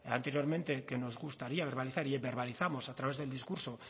anteriormente que nos gustaría verbalizar y verbalizamos a través del discurso